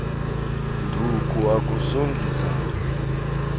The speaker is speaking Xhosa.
nduku akusongi zandla